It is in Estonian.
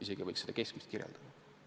Isegi nii võiks seda keskmist kirjeldada.